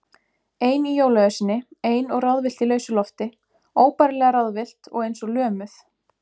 Ein í jólaösinni, ein og ráðvillt í lausu lofti, óbærilega ráðvillt og eins og lömuð.